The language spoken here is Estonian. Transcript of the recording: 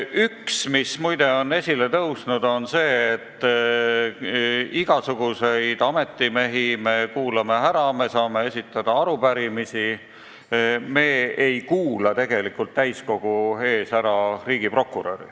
Üks mõte, mis muide on esile tõusnud, on see, et me saame ära kuulata igasuguseid ametimehi, me saame esitada arupärimisi, aga me ei kuula täiskogu ees ära riigiprokuröri.